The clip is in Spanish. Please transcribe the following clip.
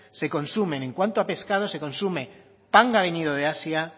se consumen en cuanto a pescado se consume panga venido de asia